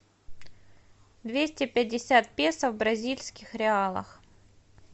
двести пятьдесят песо в бразильских реалах